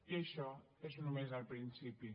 i això és nomes el principi